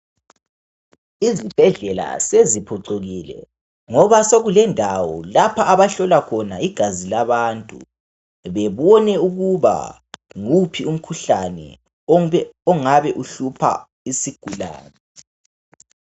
Izibhedlela seziphucukile ngoba sekulendawo lapha abahlola khona igazi labantu bebone ukuthi yiwuphi umkhuhlane kumbe ongabe uhlupha isigulane.